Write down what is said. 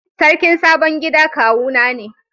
Sarkin sabon gida kawu na ne.